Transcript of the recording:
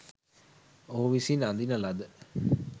ඔහු විසින් අඳින ලද